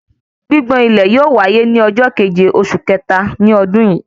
Gbigbọn ilẹ̀ yóò wáyé ní ọjọ keje oṣù kẹta ní ọdún yìí